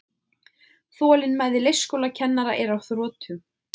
Þolinmæði leikskólakennara er á þrotum